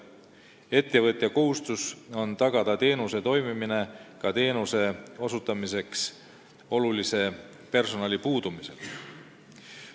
Ettevõtja kohustus on tagada teenuse toimimine ka teenuse osutamiseks olulise personali puudumise korral.